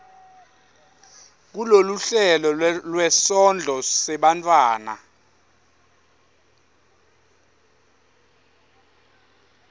kuloluhlelo lwesondlo sebantfwana